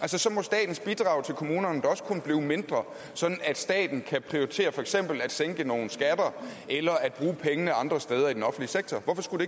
altså så må statens bidrag til kommunerne da også kunne blive mindre sådan at staten kan prioritere for eksempel at sænke nogle skatter eller at bruge pengene andre steder i den offentlige sektor hvorfor skulle